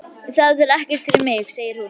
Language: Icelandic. Það er ekkert fyrir mig, segir hún.